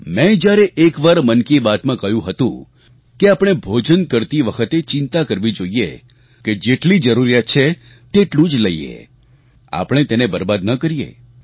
મેં જ્યારે એકવાર મન કી બાત માં કહ્યું હતું કે આપણે ભોજન કરતી વખતે ચિંતા કરવી જોઈએ કે જેટલી જરૂરિયાત છે તેટલું જ લઈએ આપણે તેને બરબાદ ન કરીએ